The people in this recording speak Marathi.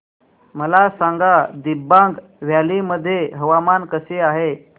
मला सांगा दिबांग व्हॅली मध्ये हवामान कसे आहे